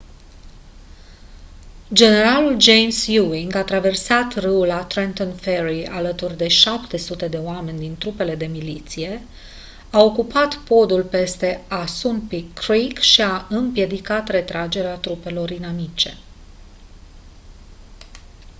generalul james ewing a traversat râul la trenton ferry alături de 700 de oameni din trupele de miliție a ocupat podul peste assunpink creek și a împiedicat retragerea trupelor inamice